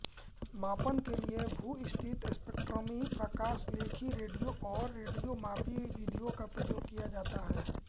मापन के लिये भूस्थित स्पेक्ट्रमी प्रकाशलेखी रेडियो और रेडियोमापी विधियों का प्रयोग किया जाता है